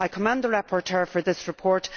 I commend the rapporteur for this report.